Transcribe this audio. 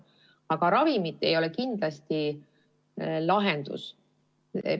Aga ravimid ei ole kindlasti lahendus.